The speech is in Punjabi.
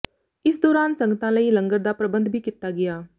ਇਸ ਦੌਰਾਨ ਸੰਗਤਾਂ ਲਈ ਲੰਗਰ ਦਾ ਪ੍ਰਬੰਧ ਵੀ ਕੀਤਾ ਗਿਆ